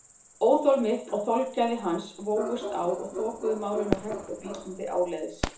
Óþol mitt og þolgæði hans vógust á og þokuðu málinu hægt og bítandi áleiðis.